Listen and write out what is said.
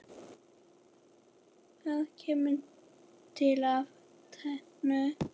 Það kemur til af tvennu.